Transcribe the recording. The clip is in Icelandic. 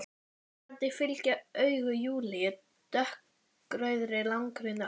Undrandi fylgja augu Júlíu dökkrauðri langri nögl.